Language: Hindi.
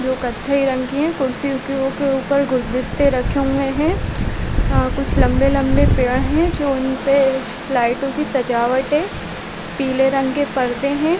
वो कथई रंग है कुर्सियों के ऊपर गुलदस्ते रखे हुए है अ कुछ लम्बे - लम्बे पेड़ है जो उनपे लाइटे की सजावट है पिले रंग के परदे है।